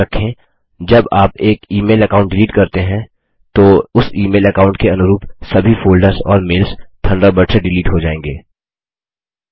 याद रखें जब आप एक ई मेल अकाउंट डिलीट करते हैं तो उस ई मेल अकाउंट के अनुरूप सभी फोल्डर्स और मेल्स थंडरबर्ड से डिलीट हो जायेंगे